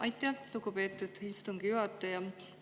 Aitäh, lugupeetud istungi juhataja!